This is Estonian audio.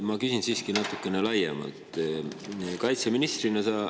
Ma küsin siiski natukene laiemalt.